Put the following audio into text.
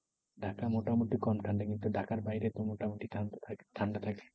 ঢাকা মোটামুটি কম ঠান্ডা। কিন্তু ঢাকার বাইরে মোটামুটি ঠান্ডা থাকে ঠান্ডা থাকে।